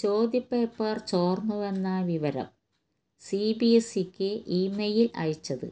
ചോദ്യപേപ്പര് ചോര്ന്നുവെന്ന വിവരം സിബിഎസ്ഇക്ക് ഇമെയില് അയച്ചത്